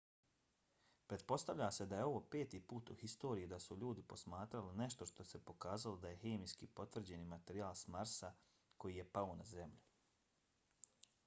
pretpostavlja se da je ovo peti put u historiji da su ljudi posmatrali nešto što se pokazalo da je hemijski potvrđeni materijal s marsa koji je pao na zemlju